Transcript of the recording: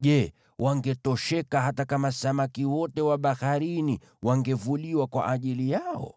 Je, wangetosheka hata kama samaki wote wa baharini wangevuliwa kwa ajili yao?”